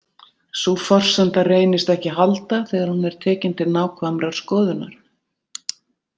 Sú forsenda reynist ekki halda þegar hún er tekin til nákvæmrar skoðunar.